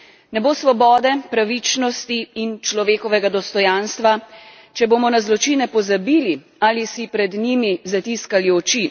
Ne bo svobode, pravičnosti in človekovega dostojanstva, če bomo na zločine pozabili ali si pred njimi zatiskali oči.